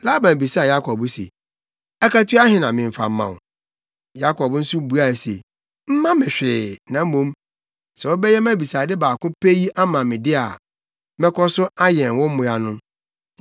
Laban bisaa Yakob se, “Akatua ahe na memfa mma wo?” Yakob nso buae se, “Mma me hwee, na mmom, sɛ wobɛyɛ mʼabisade baako pɛ yi ama me de a, mɛkɔ so ayɛn wo mmoa no.